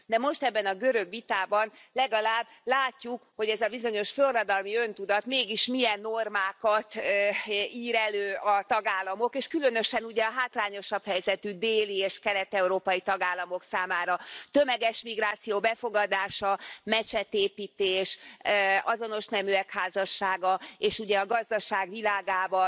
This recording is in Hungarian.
De most ebben a görög vitában legalább látjuk, hogy ez a bizonyos forradalmi öntudat mégis milyen normákat ír elő a tagállamok, és különösen, ugye, a hátrányosabb helyzetű déli és kelet európai tagállamok számára tömeges migráció befogadása, mecsetépítés, azonos neműek házassága, és, ugye, a gazdaság világában